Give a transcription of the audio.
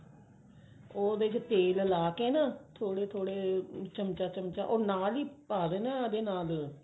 ਉਹਦੇ ਚ ਤੇਲ ਲਾ ਕੇ ਨਾ ਥੋੜੇ ਥੋੜੇ ਚਮਚਾ ਚਮਚਾ ਨਾਲ ਹੀ ਪਾ ਦੇਣਾ ਉਹਦੇ ਨਾਲ